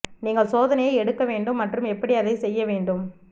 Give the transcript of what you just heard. நீங்கள் சோதனையை எடுக்க வேண்டும் மற்றும் எப்படி அதை செய்ய வேண்டும்